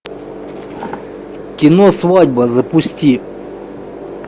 кино свадьба запусти